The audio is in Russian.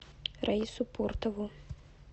раису пуртову